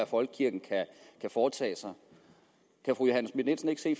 folkekirken kan foretage sig kan fru johanne schmidt nielsen ikke se